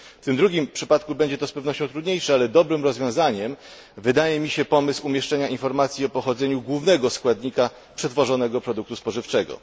W tym drugim przypadku będzie to z pewnością trudniejsze, ale dobrym rozwiązaniem wydaje mi się pomysł umieszczenia informacji o pochodzeniu głównego składnika przetworzonego produktu spożywczego.